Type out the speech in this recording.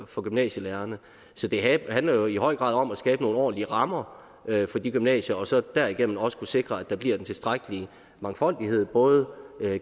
for gymnasielærerne så det handler jo i høj grad om at skabe nogle ordentlige rammer for de gymnasier og så derigennem også kunne sikre at der bliver en tilstrækkelig mangfoldighed både